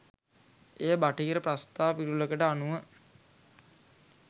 එය බටහිර ප්‍රස්තා පිරුළකට අනුව